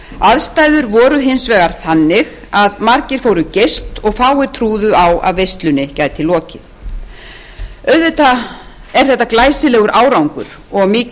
aðstæður voru hins vegar þannig að margir fóru geyst og fáir trúðu á að veislunni gæti lokið auðvitað er þetta glæsilegur árangur og